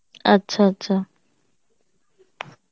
আচ্ছা আচ্ছা